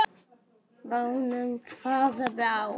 Bænum, hvaða bæ?